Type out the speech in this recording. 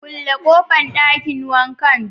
Kulle kofan Dakin wanka